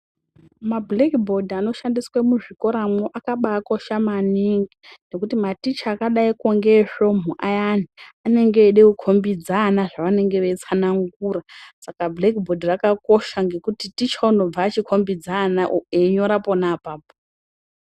Mabhuleki bhodhi anoshandiswa muzvikora mo akabakosha maningi ngekuti maticha akadaingeesvomhu anenge eide kukombidza ana zvavanenge veida kutsanangura saka bhuleki rakakosha ngekuti tichaunobva achikombidza ana einyora pona apapo.